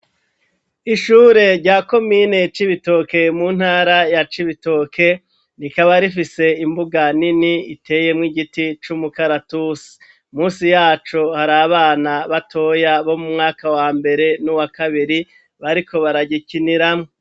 Ishure rya komine cibitoke mu ntara ya cibitoke rikaba rifise imbuga nini iteyemwo igiti c'umukaratusi, munsi yacu hari abana batoya bo mu mwaka wa mbere no m'uwakabiri bariko baragikiniramwo.